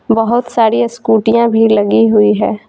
बहुत सारी स्कूटियां भी लगी हुई है।